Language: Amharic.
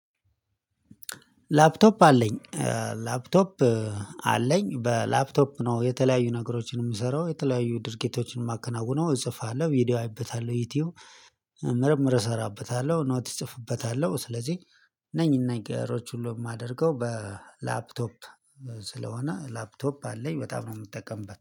ላፕቶፕ አለኝ። ላፕቶፕ አለኝ። በላፕቶፕ ነው የተለያዩ ነገሮችን የምሰራው የተለያዩ ድርጊቶችን የማከናውነው እጽፋለሁ ቪዲዮ አይበታለሁ ዩቲዩብ ምርምር እሰራበታለሁ ኖት እጽፍበታለሁ ስለዚህ እነኝ ነገሮች ሁሉ የማደርገው በላፕቶፕ። ስለሆነ ላፕቶፕ አለኝ በጣም ነው የምጠቀምበት